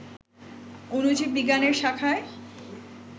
অণুজীব বিজ্ঞানের শাখায়